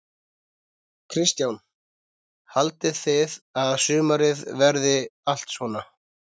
Kristján: Haldið þið að sumarið verið allt svona?